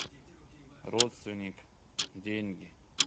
родственник деньги